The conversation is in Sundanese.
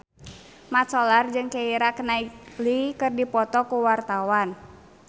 Mat Solar jeung Keira Knightley keur dipoto ku wartawan